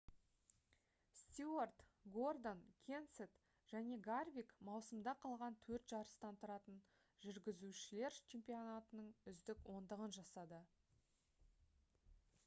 стюарт гордон кенсет және гарвик маусымда қалған төрт жарыстан тұратын жүргізушілер чемпионатының үздік ондығын жасады